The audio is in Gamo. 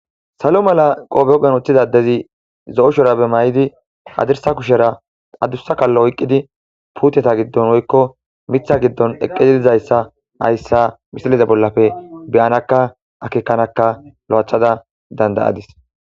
salo mala qofe huphen woththidanadezi zo7oshora be may7di adirsa kushera adursa kaallo oyqqidi puuteta giddon woykko mitha giddon eqqedilizayssa hayssa misiliza bollafe beyanakka akikanaka lo7achada dandayadis